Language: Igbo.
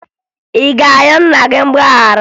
Ị ga-ayọ nna gị mgbaghara?